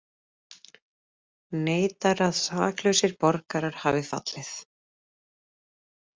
Neitar að saklausir borgarar hafi fallið